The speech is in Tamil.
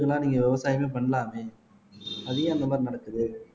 நீங்க விவசாயமே பண்ணலாமே அது ஏன் அந்த மாதிரி நடக்குது